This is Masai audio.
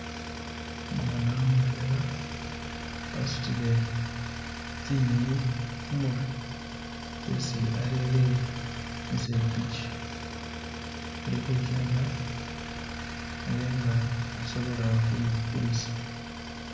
Umwana mutwela wasutile tsi nyenyi khumurwe tsesi arere musepichi alikhuchenda abe nga asobola khu bikulisa.